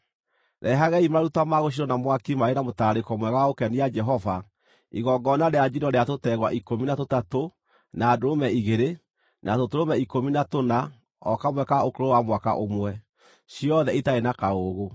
Rehagai maruta ma gũcinwo na mwaki marĩ na mũtararĩko mwega wa gũkenia Jehova, igongona rĩa njino rĩa tũtegwa ikũmi na tũtatũ, na ndũrũme igĩrĩ, na tũtũrũme ikũmi na tũna o kamwe ka ũkũrũ wa mwaka ũmwe, ciothe itarĩ na kaũũgũ.